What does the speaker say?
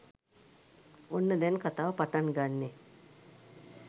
ඔන්න දැන් කතාව පටන් ගන්නෙ